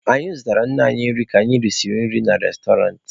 Anyị zụtara nne anyị nri ka anyị risiri nri na restọrantị.